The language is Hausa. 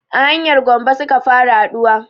A hanyar gombe suka fara haɗuwa